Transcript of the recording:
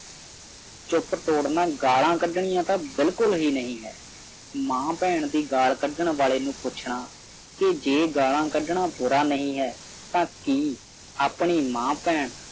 ਚੁੱਪ ਤੋੜਨੀ ਗਾਲਾ ਕੱਢਣਾ ਤੇ ਬਿਲਕੁਲ ਹੀ ਨਹੀਂ ਹੈ ਮਾਂ ਭੈਣ ਦੀ ਗਾਲ ਕੱਢਣ ਵਾਲੇ ਨੂੰ ਪੁੱਛਣਾ ਜੇ ਗਾਹਲਾਂ ਕੱਢਣਾ ਬੁਰਾ ਨਹੀਂ ਹੈ ਤਾਂ ਕੀ ਆਪਣੀ ਮਾਂ ਭੈਣ